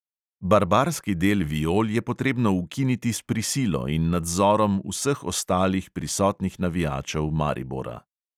Barbarski del viol je potrebno ukiniti s prisilo in nadzorom vseh ostalih prisotnih navijačev maribora.